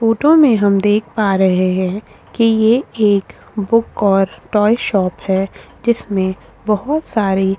photo में हम देख पा रहे है कि ये एक बुक और टॉय शॉप है जिसमें बोहोत सारे --